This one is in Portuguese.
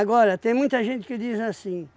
Agora, tem muita gente que diz assim.